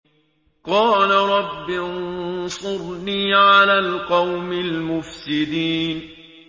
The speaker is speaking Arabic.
قَالَ رَبِّ انصُرْنِي عَلَى الْقَوْمِ الْمُفْسِدِينَ